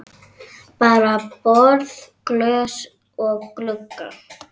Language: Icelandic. Bara borð, glös og glugga.